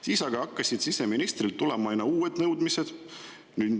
Siis aga hakkasid siseministrilt tulema aina uued nõudmised.